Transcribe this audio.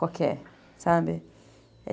Qualquer, sabe?